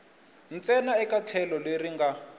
ntsena eka tlhelo leri nga